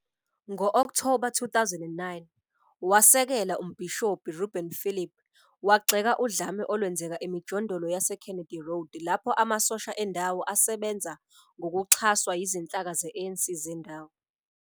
Ngo-Okthoba 2009, wasekela uMbhishobhi Rubin Phillip wagxeka udlame olwenzeka emijondolo yaseKennedy Road lapho amasosha endawo "asebenza ngokuxhaswa yizinhlaka ze-ANC zendawo".